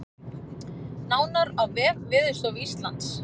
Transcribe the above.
Nánar á vef Veðurstofu Íslands